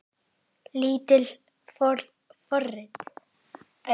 Lítil forrit